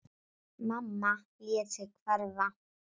Mamma lét sig hverfa.